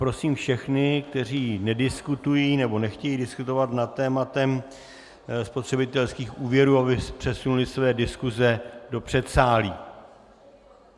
Prosím všechny, kteří nediskutují nebo nechtějí diskutovat nad tématem spotřebitelských úvěrů, aby přesunuli své diskuse do předsálí.